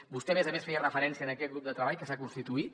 vostè a més a més feia referència a aquest grup de treball que s’ha constituït